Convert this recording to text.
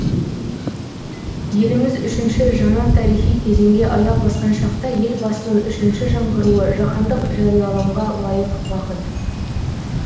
еліміз үшінші жаңа тарихи кезеңге аяқ басқан шақта елбасының үшінші жаңғыруы жаһандық жариялымға лайық бағыт